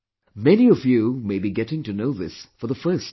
Many of you may be getting to know this for the first time